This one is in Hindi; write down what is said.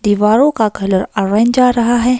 दिवारों का कलर ऑरेंज आ रहा है।